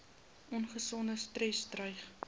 ongesonde stres dreig